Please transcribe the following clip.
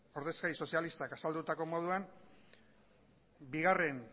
ordezkari sozialistak azaldutako moduan bigarren